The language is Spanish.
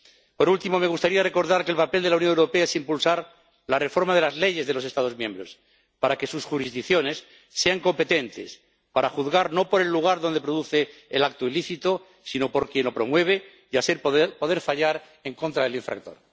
Por último, me gustaría recordar que el papel de la Unión Europea es impulsar la reforma de las leyes de los Estados miembros para que sus jurisdicciones sean competentes para juzgar no por el lugar donde se produce el acto ilícito, sino por quien lo promueve, y así poder fallar en contra del infractor.